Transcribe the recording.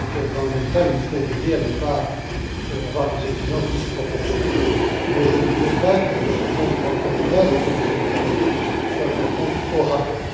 Dans le même temps, nous devons veiller à ne pas avoir des exigences disproportionnées, mais je ne veux pas que ce compte bancaire de base auquel nous allons travailler soit un compte au rabais.